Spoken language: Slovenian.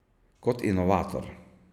Kot inovator.